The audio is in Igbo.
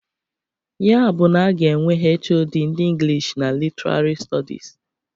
Ya bụ na a ga-enwe HoD ndị Inglish and Literarị Stọdis.